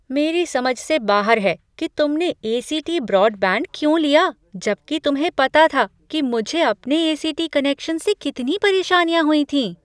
मेरी समझ से बाहर है कि तुमने ए. सी. टी. ब्रॉडबैंड क्यों लिया जब कि तुम्हें पता था कि मुझे अपने ए. सी. टी. कनेक्शन से कितनी परेशानियाँ हुई थीं।